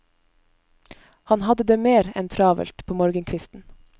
Han hadde det mer enn travelt på morgenkvisten.